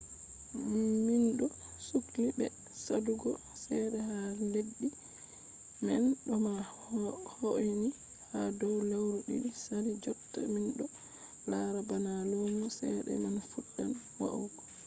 minɗo sukli be saɗugo cede ha leddi man ɗo ma hoini ha dow lewru ɗiɗi sali jotta minɗo lara bana lumo cede man fuɗɗan wa’ugo